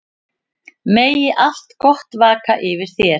Megi allt gott vaka yfir þér.